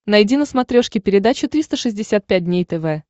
найди на смотрешке передачу триста шестьдесят пять дней тв